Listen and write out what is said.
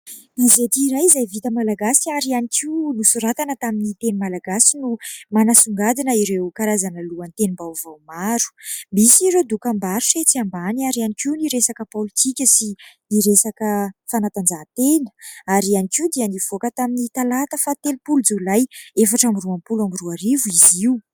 Gazety iray izay vita malagasy ary ihany koa nosoratana tamin'ny teny malagasy no manasongadina ireo karazana lohatenim-baovao maro. Misy ireo dokam-barotra etsy ambany ary ihany koa ny resaka politika sy ny resaka fanatanjahantena ary ihany koa dia nivoaka tamin'ny talata faha telopolo jolay efatra amby roapolo amby roa arivo izy io.